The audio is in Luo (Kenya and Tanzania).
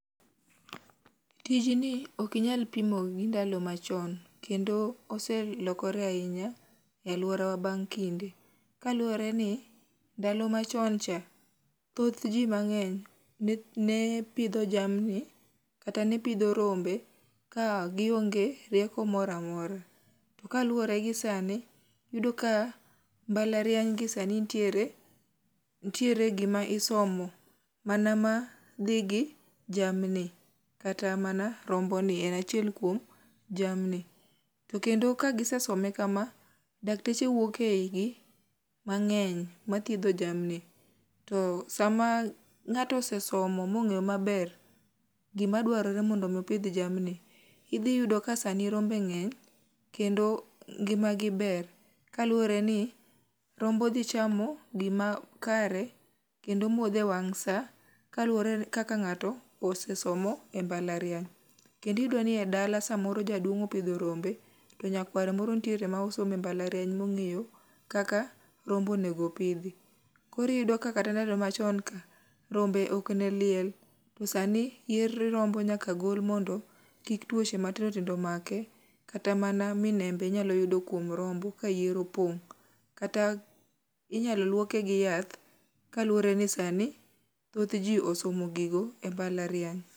Tijni okinyal pimo gi ndalo machon kendo oselokore ahinya e alworawa bang' kinde, kaluwore ni ndalo machon cha thoth ji mang'eny ne pidho jamni kata ne pidho rombe ka gionge rieko moro amora, to kaluwore gi sani iyudo ka mbalariany gi sani ntiere gima isomo mana ma dhi gi jamni kata mana romboni en achiel kuom jamni, to kendo ka gisesome kama dakteche wuok e igi mang'eny mathiedho jamni to sama ng'ato osesomo mong'eyo maber gimadwarore mondo mi opidh jamni, idhiyudo ka sani rombe ng'eny kendo ngimagi ber, kaluwore ni rombo dhi chamo gima kare kendo modho e wang' sa kaluwore kaka ng'ato osesomo e mbalariany. Kendo iyudo ni e dala samoro jaduong' opidho rombe to nyakware moro ntiere ma osomo e mbalariany mong'eyo kaka rombo onego pidhi, koro iyudo ka kata ndalo machon ka rombe okne liel to sani yier rombo nyaka gol mondo kik tuoche matindotindo make kata mana minembe inyalo yudo kuom rombo ka yier opong' kata inyalo luoke gi yath kaluwore ni sani thoth ji osomo gigo e mbalariany.